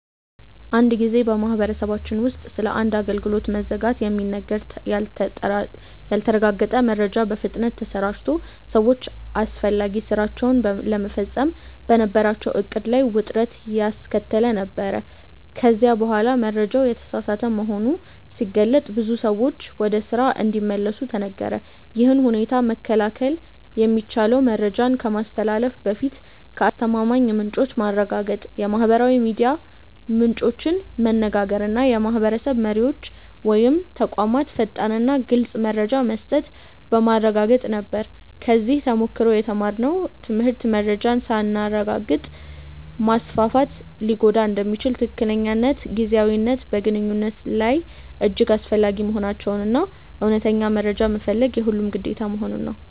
አንድ ጊዜ በማህበረሰባችን ውስጥ ስለ አንድ አገልግሎት መዘጋት የሚነገር ያልተረጋገጠ መረጃ በፍጥነት ተሰራጭቶ ሰዎች አስፈላጊ ሥራቸውን ለመፈጸም በነበራቸው ዕቅድ ላይ ውጥረት ያስከተለ ነበር፤ ከዚያ በኋላ መረጃው የተሳሳተ መሆኑ ሲገለጥ ብዙ ሰዎች ወደ ስራ እንዲመለሱ ተነገረ። ይህን ሁኔታ መከላከል የሚቻለው መረጃን ከማስተላለፍ በፊት ከአስተማማኝ ምንጮች ማረጋገጥ፣ የማህበራዊ ሚዲያ ምንጮችን መነጋገር እና የማህበረሰብ መሪዎች ወይም ተቋማት ፈጣንና ግልፅ መረጃ መስጠት በማረጋገጥ ነበር። ከዚህ ተሞክሮ የተማርነው ትምህርት መረጃን ሳናረጋግጥ ማስፋፋት ሊጎዳ እንደሚችል፣ ትክክለኛነትና ጊዜያዊነት በግንኙነት ላይ እጅግ አስፈላጊ መሆናቸውን እና እውነተኛ መረጃ መፈለግ የሁሉም ግዴታ መሆኑን ነው።